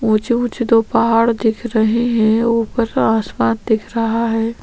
ऊंचे-ऊंचे दो पहाड़ दिख रहे है ऊपर आसमान दिख रहा है।